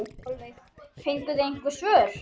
Sólveig: Fenguð þið einhver svör?